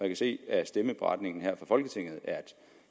jeg se af stemmeberetningen her fra folketinget